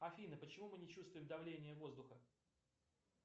афина почему мы не чувствуем давление воздуха